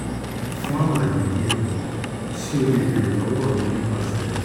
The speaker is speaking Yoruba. fun alaye diẹ sii o le beere lọwọ mi nipasẹ: http://www